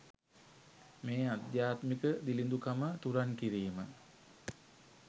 මේ අධ්‍යාත්මික දිළිඳුකම තුරන් කිරීම